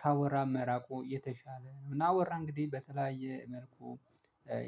ካወራን መራቁ የተሻለ እና አወራ እንግዲህ በተለያየ መልኩ።